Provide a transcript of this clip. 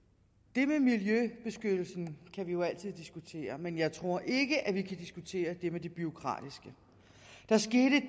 det med miljøbeskyttelsen kan vi jo altid diskutere men jeg tror ikke at vi kan diskutere det med det bureaukratiske